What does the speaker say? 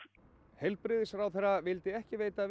heilbrigðisráðherra vildi ekki veita